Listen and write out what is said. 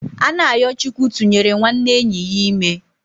Anayochukwu tụnyere nwanne enyi ya ime